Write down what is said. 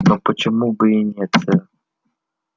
но почему бы и нет сэр